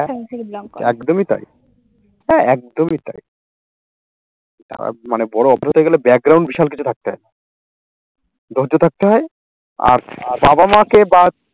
একদমই তাই। একদমই তাই মানে বড় অভ্র হয়ে গেলে বিশাল কিছু থাকতে হয় ধৈর্য থাকতে হয় আর বাবা মাকে বা